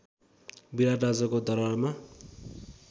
विराट राजाको दरवारमा